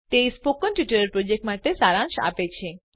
તે spoken tutorial પ્રોજેક્ટનો સારાંશ આપે છે